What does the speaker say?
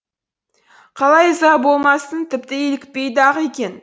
қалай ыза болмассың тіпті илікпейді ақ екен